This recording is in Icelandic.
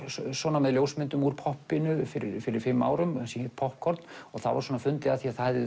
með ljósmyndum úr poppinu fyrir fyrir fimm árum sem hét poppkorn það var fundið að því það